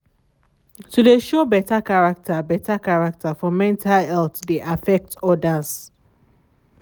to de show better character better character for mental health de affect others.